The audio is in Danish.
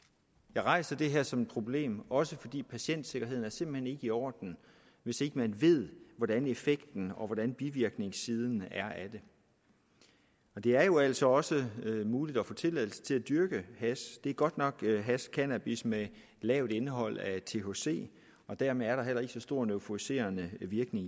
jeg rejser det her som et problem også fordi patientsikkerheden simpelt hen ikke i orden hvis ikke man ved hvordan effekten og hvordan bivirkningssiden er af det og det er jo altså også muligt at få tilladelse til at dyrke hash cannabis det er godt nok hash cannabis med et lavt indhold af thc og dermed er der heller ikke så stor en euforiserende virkning